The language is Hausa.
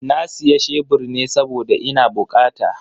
Na siya shebur ne saboda ina bukata.